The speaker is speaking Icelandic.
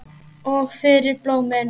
Og fyrir blómin.